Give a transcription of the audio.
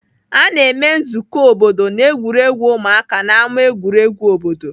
A na-eme nzukọ obodo na egwuregwu ụmụaka n'ámá egwuregwu obodo.